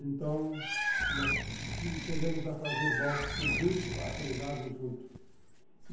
Então, nós chegamos a fazer boxe junto, a treinarmos junto.